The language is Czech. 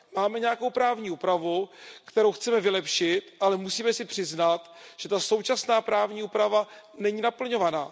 Máme nějakou právní úpravu, kterou chceme vylepšit, ale musíme si přiznat, že ta současná právní úprava není naplňovaná.